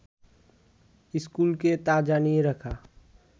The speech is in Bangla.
স্কুলকে তা জানিয়ে রাখা